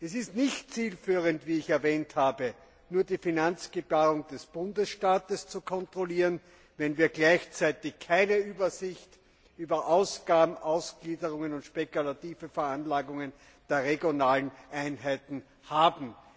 Es ist nicht zielführend, wie ich erwähnt habe, nur die Finanzgebarung des Bundesstaates zu kontrollieren, wenn wir gleichzeitig keine Übersicht über Ausgabenausgliederungen und spekulative Veranlagungen der regionalen Einheiten haben.